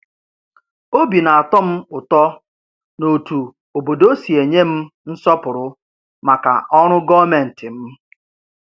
Obi na-atọ m ụtọ n’otú obodo si enye m nsọpụrụ maka ọrụ gọọmentị m.